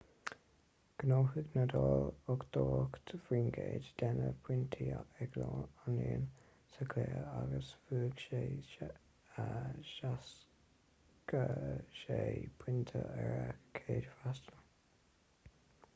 ghnóthaigh ​​nadal 88% de na pointí ag an líon sa chluiche agus bhuaigh sé 76 pointe ar a chéad fhreastal